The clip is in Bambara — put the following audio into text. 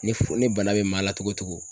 Ni f ni bana bɛ maa la cogo o cogo